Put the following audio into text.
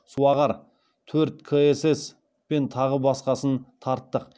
суағар төрт ксс пен тағы басқасын тарттық